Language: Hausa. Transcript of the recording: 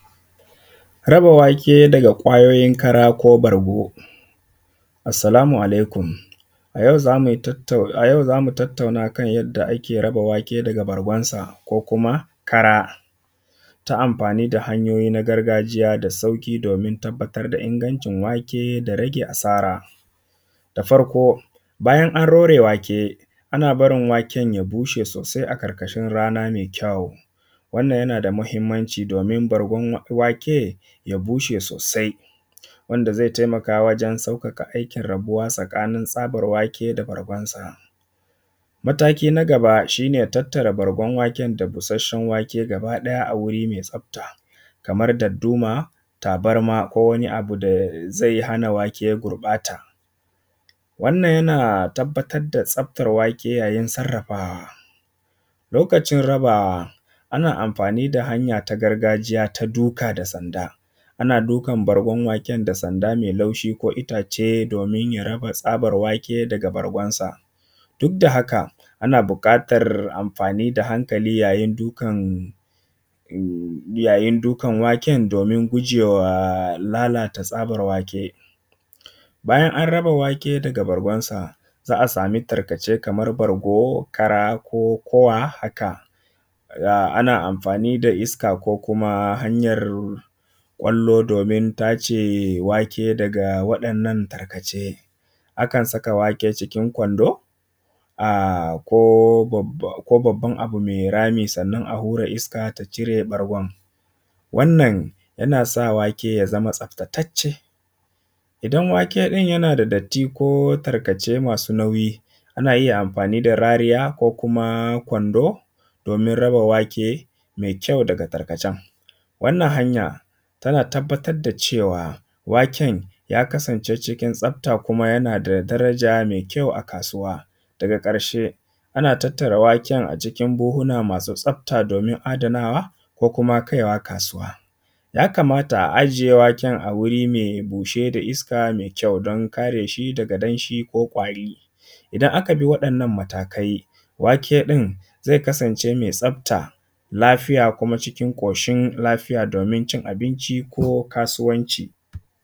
Raba wake daga ƙwayoyin kara ko bargo. Assalamu alaikum, a yau za mu tattauna a kan yanda ake raba wake daga bargonsa, ko kuma kara ta amfani da hanyoyi na gargajiya, da sauƙi domin tabbatra da ingancin wake da rage asara. Da farko bayan an rore wake ana barin waken ya bushe sosai a ƙarƙashin rana mai kyau. Wannan yana da muhimmanci domin bargon wake ya bushe sosai, wanda zai taimaka wajen sauƙaƙa aikin rabuwa tsakanin tsabar wake, da bargonsa. Mataki na gaba shi ne tattare bargon waken da busashshen wake gaba ɗaya a wuri mai tsafta, kaman dadduma, tabarma, ko wani abu zai hana wake ya gurɓata. Wannan yana tabbar da tsaftar wake yayin sarrafa. Lokacin raba ana amfani da hanya ta gargajiya ta duka da sanda. Ana dukan bargon waken da sanda mai laushi ko itace domin ya raba tsabar wake daga bargonsa, duk da haka ana buƙatar amfani da hankali yayin dukan waken domin gujewa lalata tsabar wake. Bayan an raba wake daga bargonsa za a sami tarkace kamar bargo, kara, ko kowa haka. Ana amfani da iska ko kuma hanyar ƙwallo domin tace wake daga waɗannan tarkace. Akan saka wake cikin kwando ko babban abu mai rami sannan a hura iska ta cire bargon. Wannan yana sa wake ya zama tsaftatacce. Idan waken ɗin yana da datti, ko tarkace masu nauyi, ana iya amfani da rariya, ko kuma kwando domin raba wake mai kyau daga tarkacen. Wannan hanya tana tabbatar da cewa waken ya kasance cikin tsafta, kuma yana da daraja mai kyau a kasuwa. Daga ƙarshe ana tattara waken a cikin buhuna masu tsafta domin adanawa, ko kuma kai wa kasuwa. Ya kamata a aje waken a wuri mai bushe da iska mai kyau don kare shi daga danshi, ko ƙwari. Idan aka bi waɗannan matakai wake ɗin zai kasance mai tsafta, lafiya, kuma cikin ƙoshin lafiya domin cin abinci ko kasuwanci.